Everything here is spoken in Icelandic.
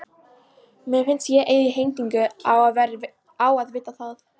Mér finnst ég eigi heimtingu á að vita það.